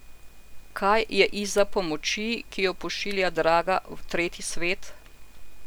Kaj je izza pomoči, ki jo pošilja draga v tretji svet?